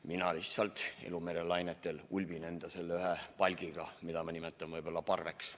Mina lihtsalt ulbin elumere lainetel oma palgiga, mida ma nimetan võib-olla parveks.